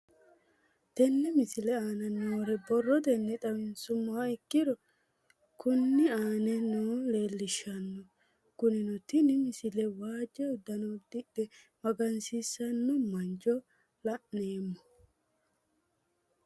Tenne misile aana noore borrotenni xawisummoha ikirro kunni aane noore leelishano. Hakunno tinni misile waajo uddanno uddidhe magansiisanno mancho laneemmo.